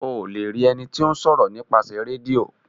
O le rí ení tíó ṣòro :nípasẹ Rédíò.